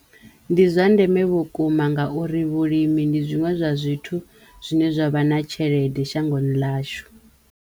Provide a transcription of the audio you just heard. Ndi zwa ndeme vhukuma nga uri vhulimi ndi zwiṅwe zwa zwithu zwine zwa vha na tshelede shangoni ḽashu.